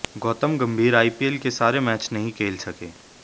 Gautam Gambhir IPL के सारे match नहीं खेल सके